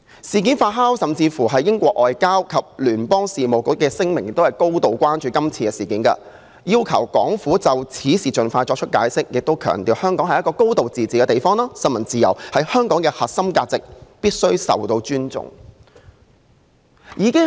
事件發酵，英國外交及聯邦事務部亦發表聲明，表示高度關注今次事件，要求港府就此事盡快作出解釋，並強調香港是一個"高度自治"的地方，新聞自由是香港的核心價值，必須受到尊重。